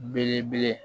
Belebele